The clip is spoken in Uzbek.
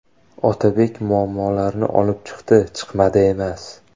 Otabek muammolarni olib chiqdi, chiqmadi emas.